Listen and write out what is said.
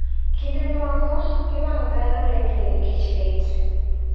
Kinde moko pi wang' dhano rengni nikech lit.